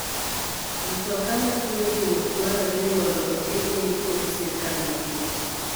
Mtoka mating'o jowuoth dwarore ni mondo otimne ndiko gi sirkal mapile.